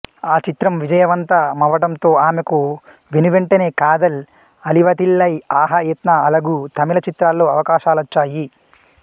ఆ చిత్రం విజయవంతమవ్వటంతో ఆమెకు వెను వెంటనే కాదల్ అళివతిల్లై ఆహా ఎత్న అళగు తమిళ చిత్రాల్లో అవకాశాలొచ్చాయి